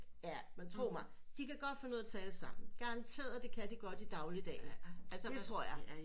Ja men tro mig de kan godt finde ud af at tale sammen garanterert det kan de godt i dagligdagen det tror jeg